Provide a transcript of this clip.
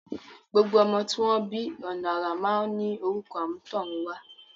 Gbogbo ọmọ tí wọ́n bí ọ̀nà àrà máa ń ní orúkọ àmútọ̀runwá.